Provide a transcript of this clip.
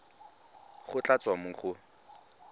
go tla tswa mo go